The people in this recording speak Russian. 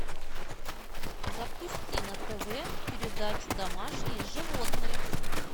запусти на тв передачу домашние животные